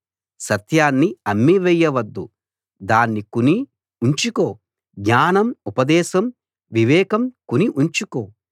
సత్యాన్ని అమ్మివేయ వద్దు దాన్ని కొని ఉంచుకో జ్ఞానం ఉపదేశం వివేకం కొని ఉంచుకో